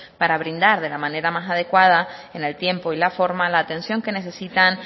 para brindar de la manera más adecuada en el tiempo y la forma la atención que necesitan